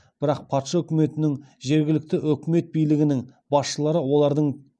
бірақ патша үкіметінің жергілікті өкімет билігінің басшылары олардың